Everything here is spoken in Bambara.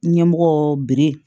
Ɲɛmɔgɔ bere